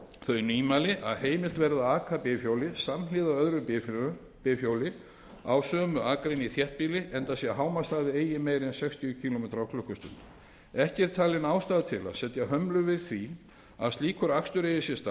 þau nýmæli að heimilt verði að aka bifhjóli samhliða öðru bifhjóli á sömu akrein í þéttbýli enda sé hámarkshraði eigi meiri en sextíu kílómetra klukkustundir ekki er talin ástæða til að setja hömlur við því að slíkur akstur eigi sér